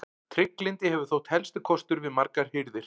Trygglyndi hefur þótt helsti kostur við margar hirðir.